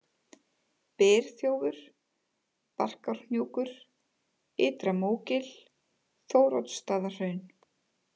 Byrþjófur, Barkárhnjúkur, Ytra-Mógil, Þóroddsstaðahraun